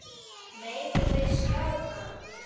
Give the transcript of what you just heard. Megum við sjá hann!